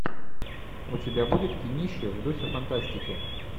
у тебя будет кинище в духе фантастики